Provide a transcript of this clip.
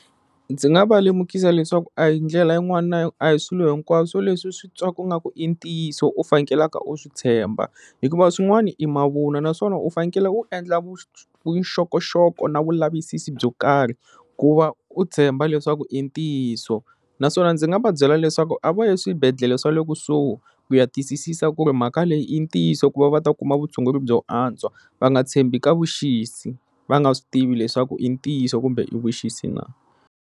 Ndzi nga va lemukisa leswaku a hi ndlela yin'wana na a hi swilo hinkwaswo leswi u swi twaka nga ku i ntiyiso u fanekelaka u swi tshemba hikuva swin'wana i mavunwa naswona u fanekele u endla vuxokoxoko na vulavisisi byo karhi ku va u tshemba leswaku i ntiyiso naswona ndzi nga va byela leswaku a va yi eswibedhlele swa le kusuhi ku ya twisisisa ku ri mhaka leyi i ntiyiso ku va va ta kuma vutshunguri byo antswa va nga tshembi ka vuxisi va nga swi tivi leswaku i ntiyiso kumbe i vuxisi na.